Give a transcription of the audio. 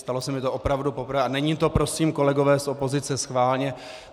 Stalo se mi to opravdu poprvé a není to, prosím, kolegové z opozice, schválně.